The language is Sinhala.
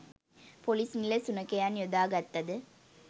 පොලිස්‌ නිල සුනඛයන් යොදා ගත්තද